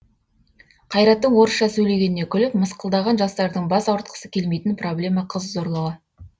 қайраттың орысша сөйлегеніне күліп мысқылдаған жастардың бас ауыртқысы келмейтін проблема қыз зорлығы